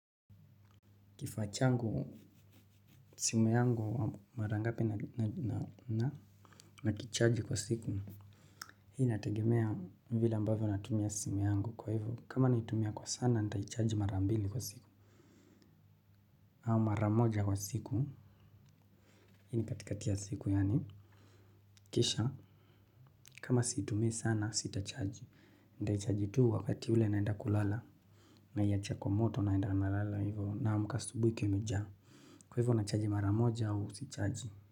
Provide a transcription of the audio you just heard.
Kifaa changu simu yangu mara ngapi na kichaji kwa siku. Hii inatagemea vile ambavyo natumia simu yangu kwa hivyo. Kama naitumia kwa sana nitaichaji mara mbili kwa siku. Au maramoja kwa siku. Hii ni katikati ya siku yani. Kisha kama situmii sana sitachaji. Ndaichaji tu wakati ule naenda kulala. Naiacha kwa moto naenda nalala hivyo. Naamka asubui ikwa imejaa. Kwa hivyo nachaji mara moja au sichaji.